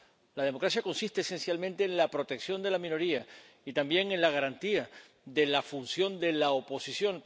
La democracia consiste esencialmente en la protección de la minoría, y también en la garantía de la función de la oposición